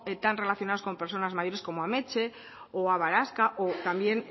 tan relacionados con personas mayores como ametse o abaraxka o también